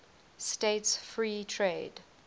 states free trade